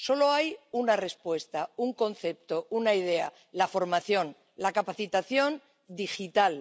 Solo hay una respuesta, un concepto, una idea la formación, la capacitación digital.